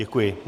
Děkuji.